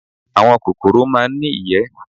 Àwọn kòkòrò máa ń ní ìyẹ́